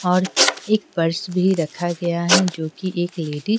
और एक पर्स भी रखा गया है जो कि एक लेडी --